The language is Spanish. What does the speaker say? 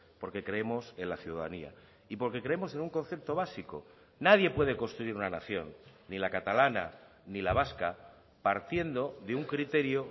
porque creemos en la ciudadanía y porque creemos en un concepto básico nadie puede construir una nación ni la catalana ni la vasca partiendo de un criterio